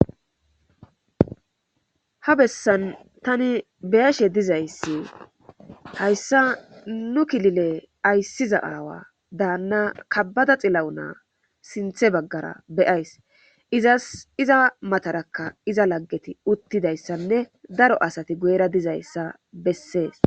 Ha bessan tani beyashe dizayssi hayssa nu kifile ayssiza aawa daanna kabada xillawunaa sinthe baggara beyays iza matarakka iza laggeti uttidayssanne daro asati goera dizayssa bessees.